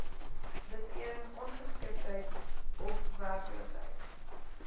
besering ongeskiktheid ofwerkloosheid